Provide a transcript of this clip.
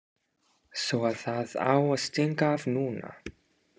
Svo að það á að stinga af núna!